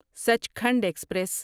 Sachkhand express